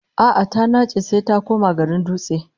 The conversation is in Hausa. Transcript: A'a, ta nace sai ta koma garin Dutse